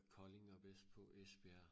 Kolding og vest på ja